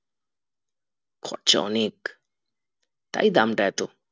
খরচা অনেক তাই দামটা এতো